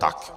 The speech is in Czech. Tak.